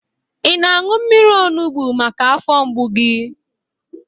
Ị na-aṅụ mmiri onubo maka afọ mgbu gị?